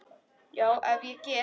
Já, ef ég get.